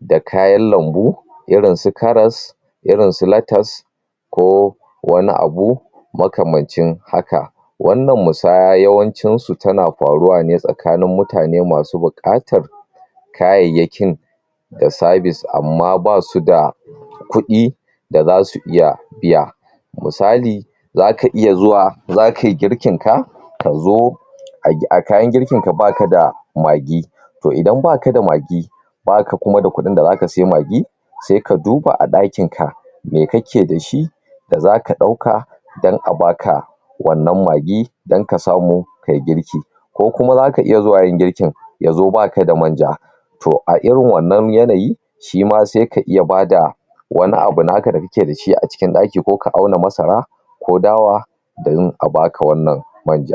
da kayan lambu irin su karas, irin su latas ko wani abu makamancin haka. Wannan musaya yawancinsu tana faruwa ne tsakanin mutane masu buƙatar kayayyakin da sabis amma ba su da kuɗi da za su iya siy\a. Misali, za ka iya zuwa za ka yi girkinka ka zo a kayan girkinka ba ka da magi. To idan ba ka da magi, ba ka kuma da kuɗin da za ka saya magi, sai ka duba ɗakinka me kake da shi da za ka ɗauka don a ba ka wannan magi don ka samu kai girki. Ko kuma za ka iya zuwa yin girkin, ya zo ba ka da manja. A irin wannan yanayi, shi ma sai ka iya ba da wani abu naka da kake da shi a cikin ɗaki ko ka auna masara ko dawa domin a ba ka wannan manja.